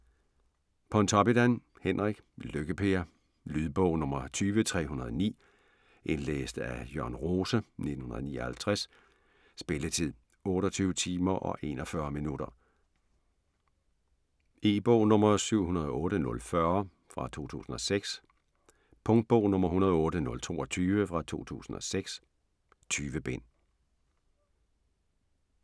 Pontoppidan, Henrik: Lykke-Per Lydbog 20309 Indlæst af Jørn Rose, 1959. Spilletid: 28 timer, 41 minutter. 708040 2006. 108022 2006. 20 bind.